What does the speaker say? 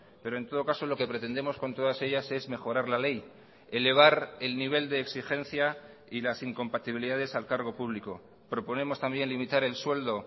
pero en todo caso lo que pretendemos con todas ellas es mejorar la ley elevar el nivel de exigencia y las incompatibilidades al cargo público proponemos también limitar el sueldo